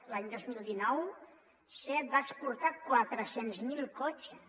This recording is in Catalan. l’any dos mil dinou seat va exportar quatre cents miler cotxes